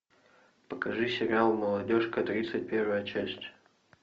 покажи сериал молодежка тридцать первая часть